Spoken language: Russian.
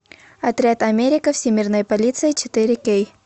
отряд америка всемирная полиция четыре кей